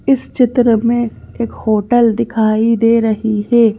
इस चित्र में एक होटल दिखाई दे रही है ।